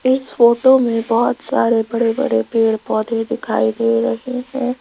इस फोटो में बहुत सारे बड़े बड़े पेड़ पौधे दिखाई दे रहे है।